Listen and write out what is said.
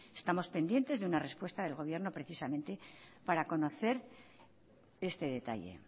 estamos pendientes de una respuesta del gobierno precisamente para conocer este detalle